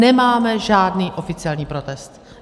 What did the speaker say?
Nemáme žádný oficiální protest.